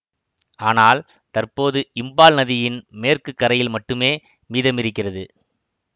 ஆனால் தற்போது இம்பால் நதியின் மேற்கு கரையில் மட்டுமே மீதமிருக்கிறது